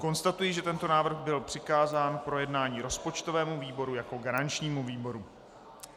Konstatuji, že tento návrh byl přikázán k projednání rozpočtovému výboru jako garančnímu výboru.